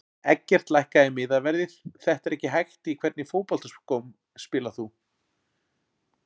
Eggert lækkaðu miðaverðið þetta er ekki hægt Í hvernig fótboltaskóm spilar þú?